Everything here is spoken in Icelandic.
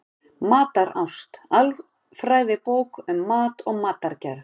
Matarást: Alfræðibók um mat og matargerð.